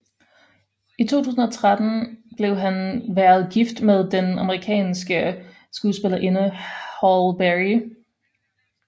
I 2013 blev han været gift med den amerikanske skuespillerinde Halle Berry